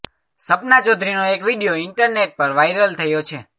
સપના ચૌધરીનો એક video internet પર વાઈરલ થયો છે